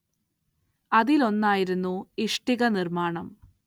അതിലൊന്നായിരുന്നു ഇഷ്ടിക നിർമ്മാണം.